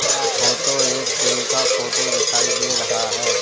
ऐ photo एक gym का photo दिखाई दे रहा है।